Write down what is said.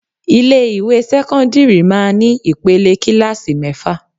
Ilé ìwé sẹ́kọ́ńdírì máa ní ìpele kílààsì mẹ́fà.